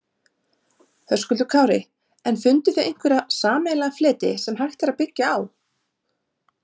Höskuldur Kári: En funduð þið einhverja sameiginlega fleti sem hægt er að byggja á?